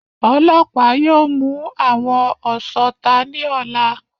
Ọlọ́pàá yóò mú àwọn ọ̀sọta ní ọ̀la